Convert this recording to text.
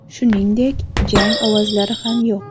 Shuningdek, jang ovozlari ham yo‘q.